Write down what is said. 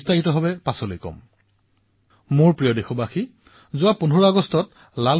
বিস্তাৰিতভাৱে আগলৈ এই বিষয়ে কম কিন্তু এতিয়া সময় থাকোতে কিছুমানে অভ্যাস আৰম্ভ কৰিব পাৰে যোজনা প্ৰস্তুত কৰিব পাৰে